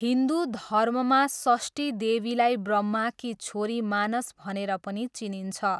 हिन्दु धर्ममा षष्ठीदेवीलाई ब्रह्माकी छोरी मानस भनेर पनि चिनिन्छ।